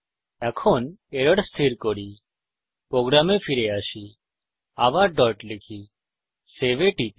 এখন এরর স্থির করি প্রোগ্রামে ফিরে আসি আবার ডট লিখি সেভ এ টিপি